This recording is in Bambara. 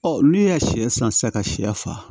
olu ye sɛ san sisan ka sɛ faa